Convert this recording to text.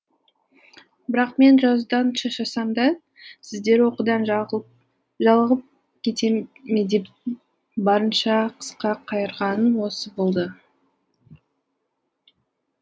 бірақ мен жазудан шаршасам да сіздер оқудан жалығып кете ме деп барынша қысқа қайырғаным осы болды